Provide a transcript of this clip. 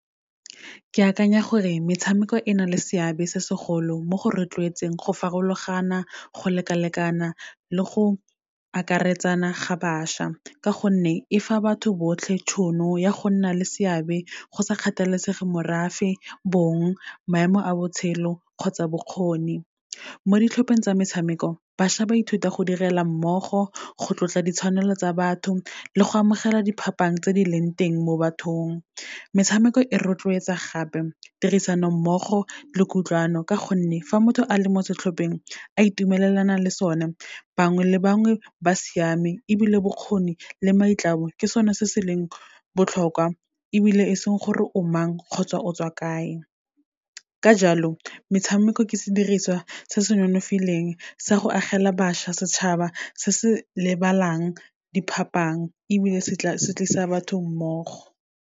Ke akanya gore metshameko e na le seabe se segolo mo go rotloetseng, go farologana, go lekalekana le go akaretsana ga bašwa, ka gonne e fa batho botlhe tšhono ya go nna le seabe go sa kgathalesege morafe, bong, maemo a botshelo kgotsa bokgoni. Mo ditlhopheng tsa metshameko, bašwa ba ithuta go direla mmogo, go tlotla ditshwanelo tsa batho le go amogela diphapang tse di leng teng mo bathong. Metshameko e rotloetsa gape, tirisanommogo le kutlwano, ka gonne fa motho a le mo setlhopheng, a itumelelana le sone bangwe le bangwe ba siame, ebile bokgoni le maitlamo ke sone se se leng botlhokwa, ebile e seng gore o mang kgotsa o tswa kae. Ka jalo, metshameko ke sediriswa se se nonofileng, sa go agela bašwa setšhaba se se lebalang diphapang, ebile se tlisa batho mmogo.